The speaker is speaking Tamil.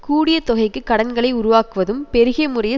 கூடிய தொகைக்கு கடன்களை உருவாக்குவதும் பெருகிய முறையில்